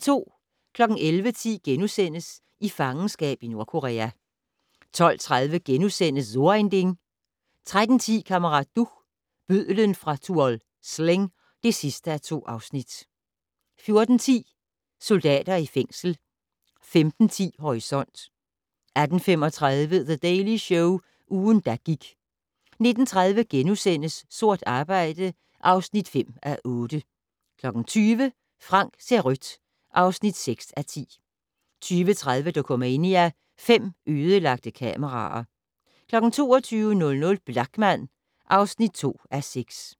11:10: I fangenskab i Nordkorea * 12:30: So ein Ding * 13:10: Kammerat Duch - bødlen fra Tuol Sleng (2:2) 14:10: Soldater i fængsel 15:10: Horisont 18:35: The Daily Show - ugen, der gik 19:30: Sort arbejde (5:8)* 20:00: Frank ser rødt (6:10) 20:30: Dokumania: Fem ødelagte kameraer 22:00: Blachman (2:6)